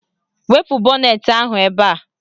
Wepu bọnetị ahụ ebe a